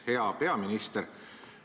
Hea peaminister!